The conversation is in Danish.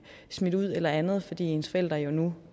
smidt ud eller andet fordi ens forældre jo nu